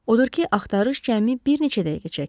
Odur ki, axtarış cəmi bir neçə dəqiqə çəkdi.